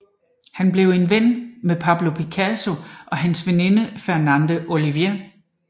Han blev ven med Pablo Picasso og hans veninde Fernande Olivier